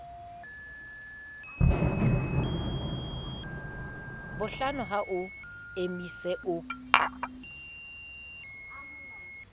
bohlano ha o emise o